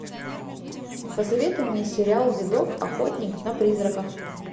посоветуй мне сериал видок охотник на призраков